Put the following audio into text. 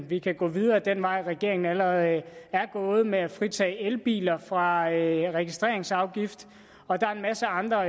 vi kan gå videre ad den vej regeringen allerede er gået med at fritage elbiler fra registreringsafgift og der er en masse andre